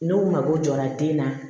N'o mako jɔra den na